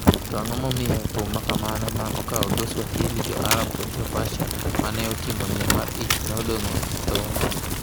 To ang’o momiyo thum ma kamago, ma okawo dho Swahili, Jo-Arab kod Jo-Persia ma ne oting’o miel mar ich, ne odong’ e dho nam?